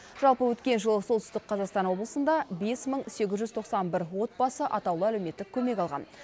жалпы өткен жылы солтүстік қазақстан облысында бес мың сегіз жүз тоқсан бір отбасы атаулы әлеуметтік көмек алған